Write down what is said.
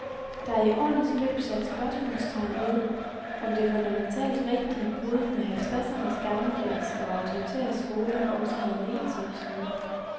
Der er i årenes løb sat spørgsmålstegn ved, om det fundamentalt rigtige brud med halvtredsernes gammeldags og autoritære skole også havde negative sider.